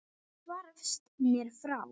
Hvarfst mér frá.